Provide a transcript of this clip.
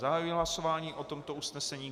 Zahajuji hlasování o tomto usnesení.